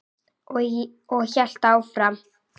Og hélt áfram: